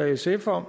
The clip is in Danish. og sf om